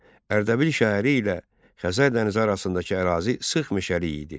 Ərdəbil şəhəri ilə Xəzər dənizi arasındakı ərazi sıx meşəlik idi.